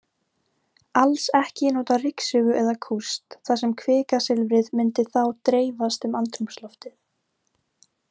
Alls ekki má nota ryksugu eða kúst, þar sem kvikasilfrið mundi þá dreifast um andrúmsloftið.